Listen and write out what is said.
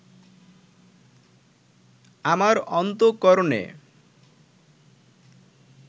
আমার অন্তঃকরণে